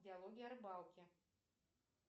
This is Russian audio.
диалоги о рыбалке